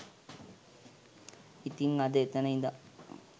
ඉතින් අද එතන ඉදන්